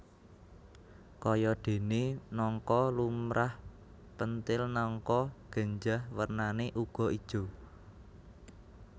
Kayadéné nangka lumrah pentil nangka genjah wernané uga ijo